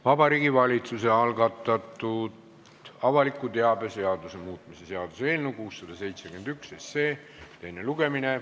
Vabariigi Valitsuse algatatud avaliku teabe seaduse muutmise seaduse eelnõu 671 teine lugemine.